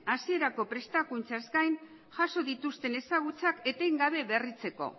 hasierako prestakuntzaz gain jaso dituzten ezagutzak etengabe berritzeko